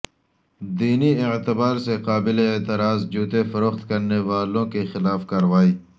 دینی اعتبار سے قابل اعتراض جوتے فروخت کرنے والوں کیخلاف کارروائی